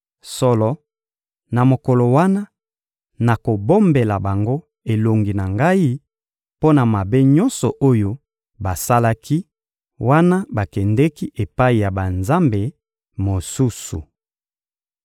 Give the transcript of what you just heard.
Solo, na mokolo wana, nakobombela bango elongi na Ngai mpo na mabe nyonso oyo basalaki, wana bakendeki epai ya banzambe mosusu.